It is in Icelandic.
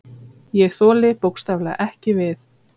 Ég þoli bókstaflega ekki við.